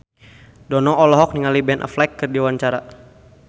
Dono olohok ningali Ben Affleck keur diwawancara